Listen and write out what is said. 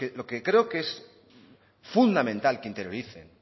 lo que creo que es fundamental que interioricen